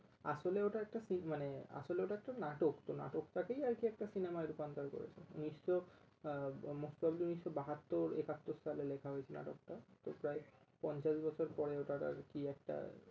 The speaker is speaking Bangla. আসলে ওটা একটা সি~ মানে আসলে ওটা একটা নাটক, নাটকটা কেই আরকি একটা cinema রুপান্তর করে ঊনিশশো আহ উম মুক্ত ঊনিশশো বাহাত্তর একাত্তর সালে লেখা হয়েছিল নাটক টা তো প্রায় পঞ্চাশ বছর পরে ওটার আরকি একটা